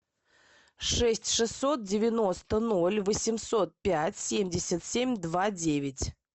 шесть шестьсот девяносто ноль восемьсот пять семьдесят семь два девять